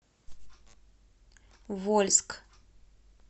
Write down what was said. вольск